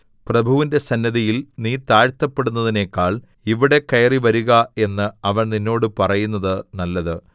പ്രഭുവിന്റെ സന്നിധിയിൽ നീ താഴ്ത്തപ്പെടുന്നതിനെക്കാൾ ഇവിടെ കയറിവരുക എന്ന് അവൻ നിന്നോട് പറയുന്നത് നല്ലത്